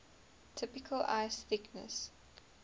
typical ice thickness